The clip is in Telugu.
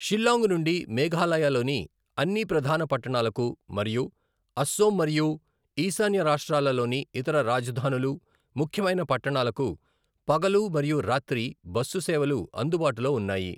షిల్లాంగ్ నుండి మేఘాలయలోని అన్ని ప్రధాన పట్టణాలకు మరియు అసోం మరియు ఈశాన్య రాష్ట్రాలలోని ఇతర రాజధానులు, ముఖ్యమైన పట్టణాలకు పగలు మరియు రాత్రి బస్సు సేవలు అందుబాటులో ఉన్నాయి.